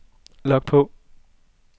log på